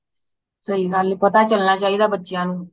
ਸਹੀ ਗੱਲ ਏ ਪਤਾ ਚਲਣਾ ਚਾਹੀਦਾ ਬੱਚਿਆਂ ਨੂੰ